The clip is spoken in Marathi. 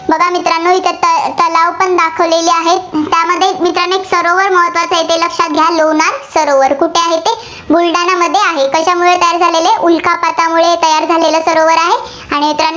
बघा मित्रांनो इथं तलावपण दाखवलेले आहेत. त्यामध्ये मित्रांनो सरोवर महत्त्वाचे आहे, ते लक्षात घ्या. लोणार सरोवर. कुठे आहे ते? बुलडाणामध्ये आहे. कशामुळे तयार झालेले आहे, उल्कापातामुळे तयार झालेला सरोवर आहे, आणि